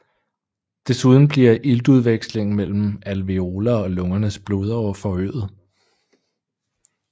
Desuden bliver iltudvekslingen mellem alveoler og lungernes blodårer forøget